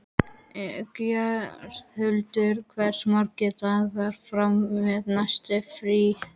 Geirhildur, hversu margir dagar fram að næsta fríi?